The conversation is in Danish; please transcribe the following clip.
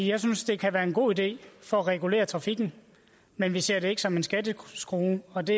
jeg synes det kan være en god idé for at regulere trafikken men vi ser det ikke som en skatteskrue og det